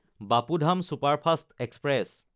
Bapu Dham superfast express